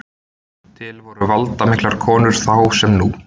Til voru valdamiklar konur þá sem nú.